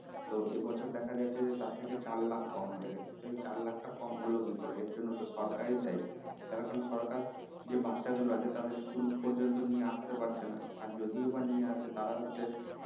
তো এবছর দেখা যাচ্ছে যে তার থেকে চার লাখ কম হয়ে গেছে তো এই চার লাখ টা কম হল কি করে এর জন্য তো সরকার ই দায়ী তার কারন সরকার যে বাছা গুলো আছে তাদের school পর্যন্ত নিয়ে আস্তে পারছে না আর যদিও বা নিয়ে আসে তারা হচ্ছে